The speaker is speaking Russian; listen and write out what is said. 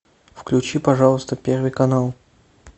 включи пожалуйста первый канал